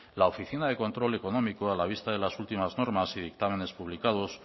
la oficina de control económico a la vista de las últimas normas y dictámenes publicados